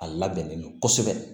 A labɛnnen don kosɛbɛ